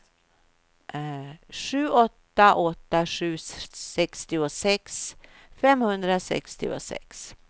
sju åtta åtta sju sextiosex femhundrasextiosex